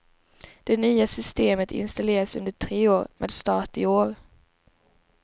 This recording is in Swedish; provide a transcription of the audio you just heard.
Det nya systemet installeras under tre år, med start i år.